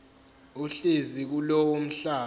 ohlezi kulowo mhlaba